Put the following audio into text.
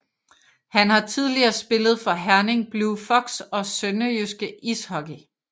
Han har tidligere spillet for Herning Blue Fox og SønderjyskE Ishockey